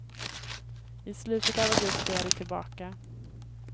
I slutet av augusti är de tillbaka.